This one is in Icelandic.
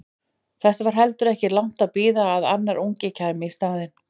Þess var heldur ekki langt að bíða að annar ungi kæmi í staðinn.